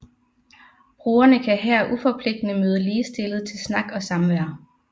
Brugerne kan her uforpligtende møde ligestillede til snak og samvær